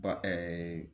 Ba